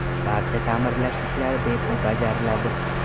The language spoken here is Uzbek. Barcha ta’mirlash ishlari bepul bajariladi.